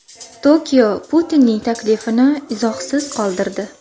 Tokio Putinning taklifini izohsiz qoldirdi.